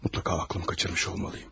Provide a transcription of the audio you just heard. Mütləq ağlımı qaçırmış olmalıyım.